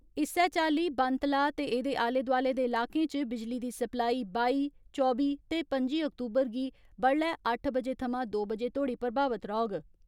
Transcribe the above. इस्सै चाली बन तलाब ते एदे आले दोआले दे इलाकें च बिजली दी सप्लाई बाई, चौबी ते पं'जी अक्तूबर गी बड्डलै अट्ठ बजे थमां दो बजे तोड़ी प्रभावित रौहग।